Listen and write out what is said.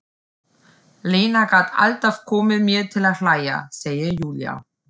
Lena gat alltaf komið mér til að hlæja, segir Júlía.